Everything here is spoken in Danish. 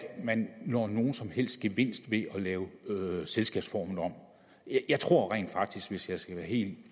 man når nogen som helst gevinst ved at lave selskabsformen om jeg tror rent faktisk hvis jeg skal være helt